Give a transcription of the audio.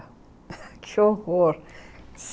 Que horror!